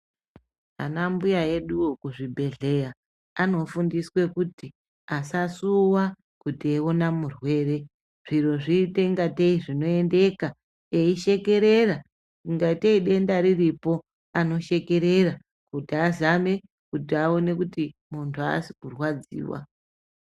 Ana mbuya eduo kuzvibhedhleya anofundiswa kuti asasuwa kuti eiona murwere zviro zviitengatei zvinoendeka eishekerera ingatei denda riripo anoshekerera kuti azame kuti aone kuti munthu haasi kurwadziwa.